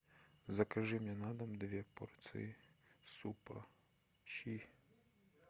закажи мне на дом две порции супа щи